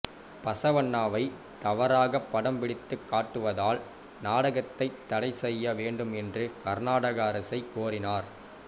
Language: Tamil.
பசவண்ணாவை தவறாக படம்பிடித்துக் காட்டுவதால் நாடகத்தை தடைசெய்ய வேண்டும் என்று கர்நாடக அரசை கோரினர்